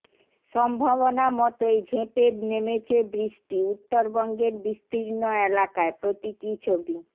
সম্ভাবনা মতই ঝেঁপে নেমেছে বৃষ্টি উত্তরবঙ্গের বিস্তীর্ণ এলাকায় প্রতীকী ছবি